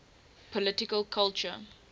political culture